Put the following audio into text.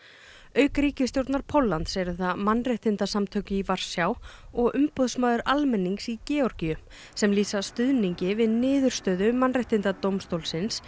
auk ríkisstjórnar Póllands eru það mannréttindasamtök í Varsjá og umboðsmaður almennings í Georgíu sem lýsa stuðningi við niðurstöðu Mannréttindadómstólsins